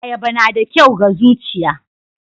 Ayaba na da kyau ga zuchiya.